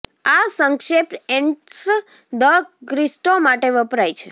આ સંક્ષેપ એન્ટ્સ દ ક્રિસ્ટો માટે વપરાય છે